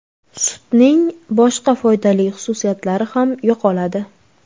Sutning boshqa foydali xususiyatlari ham yo‘qoladi.